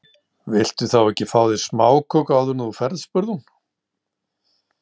Viltu þá ekki fá þér smáköku áður en þú ferð spurði hún.